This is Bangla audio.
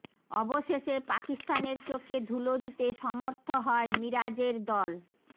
অবশেষে পাকিস্তানের চোখে ধূলো দিতে সমর্থ হয় মিরাজের দল